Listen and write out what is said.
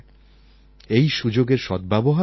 এই সুযোগের সদ্ব্যবহার করুন